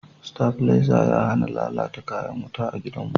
stabileza ya hana lallata kayan wuta a gidan mu